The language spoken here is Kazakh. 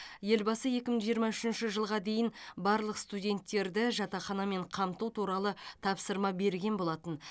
елбасы екі мың жиырма үшінші жылға дейін барлық студенттерді жатақханамен қамту туралы тапсырма берген болатын